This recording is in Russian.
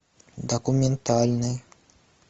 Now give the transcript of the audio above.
документальный